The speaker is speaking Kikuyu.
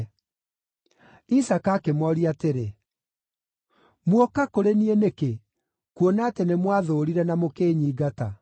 Isaaka akĩmooria atĩrĩ, “Muoka kũrĩ niĩ nĩkĩ, kuona atĩ nĩmwathũũrire na mũkĩnyingata?”